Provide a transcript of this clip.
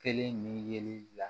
Kelen ni yeli la